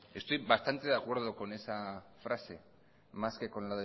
estoy bastante de acuerdo con esa frase más que con